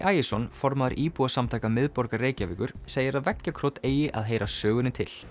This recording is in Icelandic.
Ægisson formaður íbúasamtaka miðborgar Reykjavíkur segir að veggjakrot eigi að heyra sögunni til